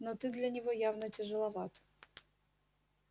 но ты для него явно тяжеловат